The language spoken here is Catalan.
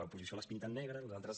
l’oposició les pinten negres nosaltres